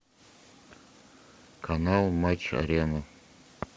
канал матч арена